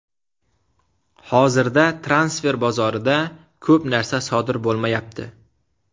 Hozirda transfer bozorida ko‘p narsa sodir bo‘lmayapti.